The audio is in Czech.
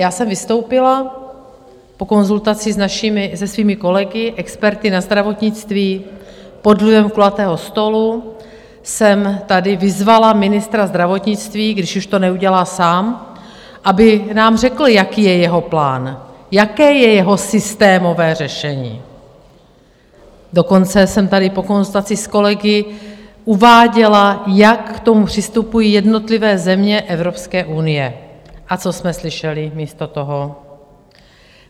Já jsem vystoupila po konzultaci se svými kolegy, experty na zdravotnictví, pod vlivem kulatého stolu jsem tady vyzvala ministra zdravotnictví, když už to neudělá sám, aby nám řekl, jaký je jeho plán, jaké je jeho systémové řešení, dokonce jsem tady po konzultaci s kolegy uváděla, jak k tomu přistupují jednotlivé země Evropské unie, a co jsme slyšeli místo toho?